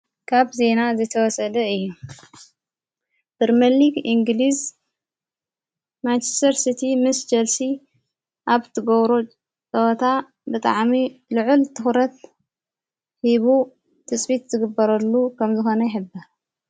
ካብ ዚና ዝተወሰደ እዩ ፕርመሊግ ኢንግልዝ ማችስተር ስቲ ምስ ጨልሲ ኣብ ትገብሮ ችወታ ብጥዓሚ ልዑል ተዂረት ሂቡ ትጽቢት ዝግበረሉ ከም ዝኾነ ይህብር፡፡